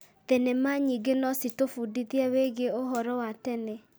Thenema nyingĩ no citũbundithie wĩgiĩ ũhoro wa tene.